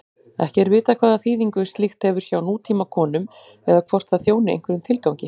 Ekki er vitað hvaða þýðingu slíkt hefur hjá nútímakonum eða hvort það þjóni einhverjum tilgangi.